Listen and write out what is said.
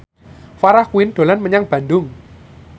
Farah Quinn dolan menyang Bandung